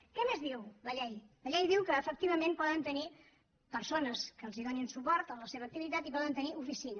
què més diu la llei la llei diu que efectivament poden tenir persones que els donin suport en la seva activitat i poden tenir oficina